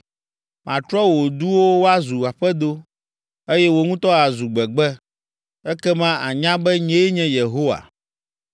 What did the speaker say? Matrɔ wò duwo woazu aƒedo, eye wò ŋutɔ àzu gbegbe. Ekema ànya be, nyee nye Yehowa.’